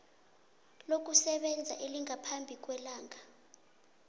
lokusebenza elingaphambi kwelanga